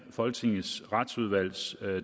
folketingets retsudvalgs